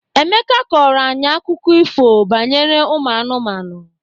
Emeka kọrọ anyị akụkọ ifo banyere ụmụ anụmanụ.